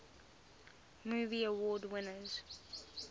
movie award winners